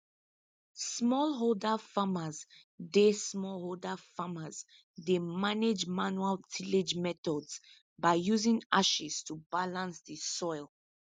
smallholder farmers dey smallholder farmers dey manage manual tillage methods by using ashes to balance the soil